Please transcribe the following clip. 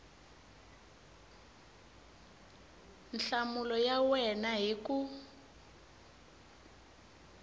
nhlamulo ya wena hi ku